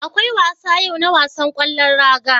Akwai wasa yau na wasan ƙwallon raga.